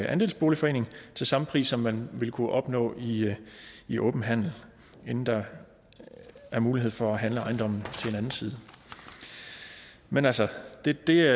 andelsboligforening til samme pris som man ville kunne opnå i i åben handel inden der er mulighed for at handle ejendommen til anden side men altså det det